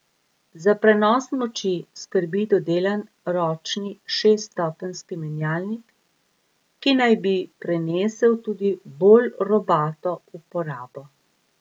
Za prenos moči skrbi dodelan ročni šeststopenjski menjalnik, ki naj bi prenesel tudi bolj robato uporabo.